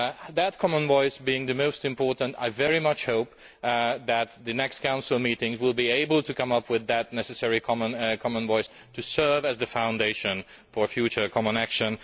That common voice being the most important, I very much hope that the next Council meetings will be able to come up with that necessary common voice to serve as the foundation for future common action.